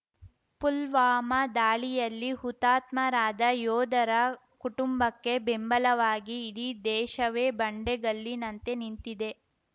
ಪುಲ್ವಾಮಾ ದಾಳಿಯಲ್ಲಿ ಹುತಾತ್ಮರಾದ ಯೋಧರ ಕುಟುಂಬಕ್ಕೆ ಬೆಂಬಲವಾಗಿ ಇಡೀ ದೇಶವೇ ಬಂಡೆಗಲ್ಲಿನಂತೆ ನಿಂತಿದೆ